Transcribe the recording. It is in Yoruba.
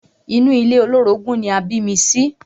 Inú ilé olórogún ni a bí mi sí.